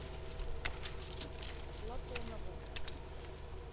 платонову